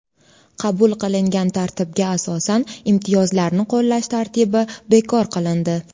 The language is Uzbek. Qabul qilingan tartibga asosan imtiyozlarni qo‘llash tartibi bekor qilindi.